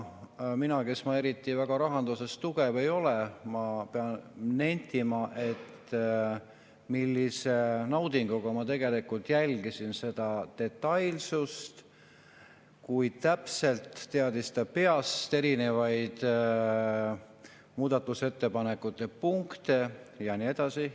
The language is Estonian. Mina, kes ma eriti tugev rahanduses ei ole, pean nentima, et ma naudinguga jälgisin seda detailsust, kui täpselt teadis ta peast erinevaid muudatusettepanekute punkte ja nii edasi.